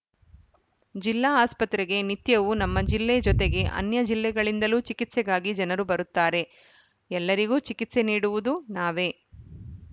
ಜಿಲ್ಲಾ ಆಸ್ಪತ್ರೆಗೆ ನಿತ್ಯವೂ ನಮ್ಮ ಜಿಲ್ಲೆ ಜೊತೆಗೆ ಅನ್ಯ ಜಿಲ್ಲೆಗಳಿಂದಲೂ ಚಿಕಿತ್ಸೆಗಾಗಿ ಜನರು ಬರುತ್ತಾರೆ ಎಲ್ಲರಿಗೂ ಚಿಕಿತ್ಸೆ ನೀಡುವುದು ನಾವೇ